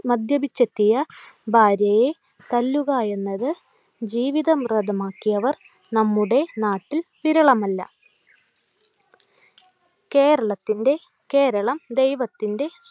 മദ്യപിച്ചെത്തിയ ഭാര്യയെ തല്ലുക എന്നത് ജീവിതം നമ്മുടെ നാട്ടിൽ വിരളമല്ല കേരളത്തിൻ്റെ കേരളം ദൈവത്തിൻ്റെ